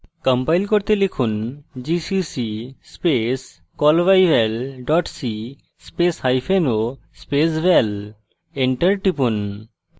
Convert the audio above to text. compile করতে লিখুন gcc space callbyval c space hyphen o space val enter টিপুন